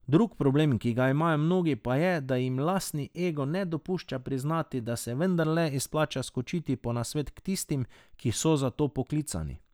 Drug problem, ki ga imajo mnogi, pa je, da jim lastni ego ne dopušča priznati, da se vendarle izplača skočiti po nasvet k tistim, ki so zato poklicani.